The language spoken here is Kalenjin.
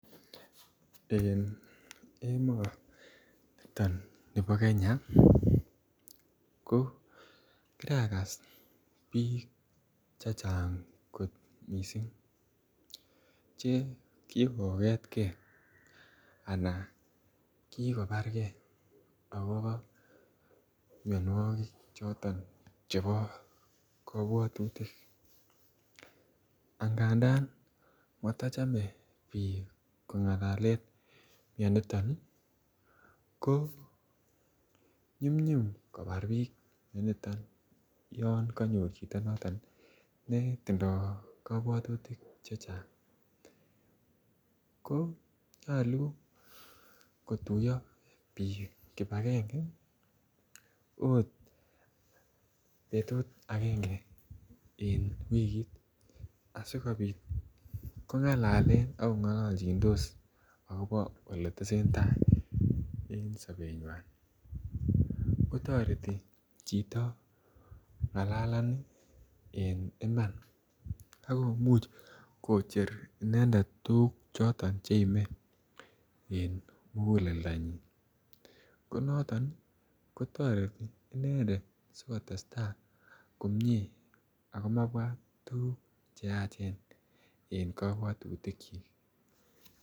En emoniton nibo Kenya ko kiagas bik chechang kot missing che kikogetgee anan kikobargee akobo mionwokik choto chebo kobwotutik agandan motoche bik kongalalen mioniton nii ko nyumnyum kobar bik mioniton yon konyor chito noton ne tindo kobwotutik chechang. Ko nyolu kotuyo bik kipagenge ot betuy agenge en wikit asikopit kongalalen ak kongololchidos akobo ole tesentai en sobenywan kotoreti chito ngalalani en Iman ak komuch kocher inendet tukuk choton cheime en muguleldonyin. Ko noton nii kotoreti inendet sikotestai komie ako mabwat tukuk cheyache en kobwotutik.